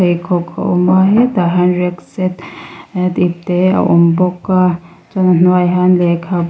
pheikhawk a awm a hetah hian rucksack tih te a awm bawka chuan a hnuai ah hian lehkha--